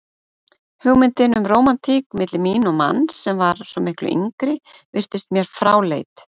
Hugmyndin um rómantík milli mín og manns sem var svo miklu yngri virtist mér fráleit.